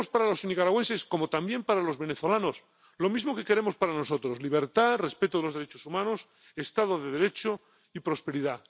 Queremos para los nicaragüenses, como también para los venezolanos, lo mismo que queremos para nosotros libertad, respeto de los derechos humanos, Estado de Derecho y prosperidad.